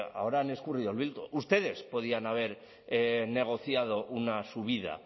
ahora han escurrido el bulto ustedes podían haber negociado una subida